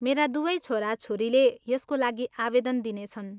मेरा दुवै छोराछोरीले यसको लागि आवेदन दिनेछन्।